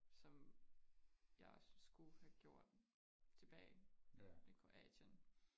Som jeg skulle have gjort tilbage i Kroatien